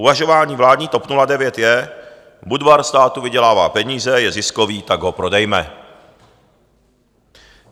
Uvažování vládní TOP 09 je: Budvar státu vydělává peníze, je ziskový, tak ho prodejme.